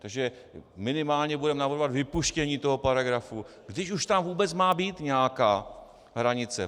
Takže minimálně budeme navrhovat vypuštění toho paragrafu, když už tam vůbec má být nějaká hranice.